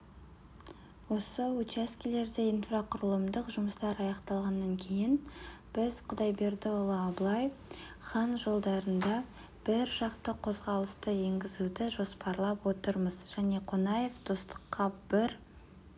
осы учаскелерде инфрақұрылымдық жұмыстар аяқталғаннан кейін біз құдайбердіұлы абылай хан жолдарында бір жақты қозғалысты енгізуді жоспарлап отырмыз және қонаев достыққа бір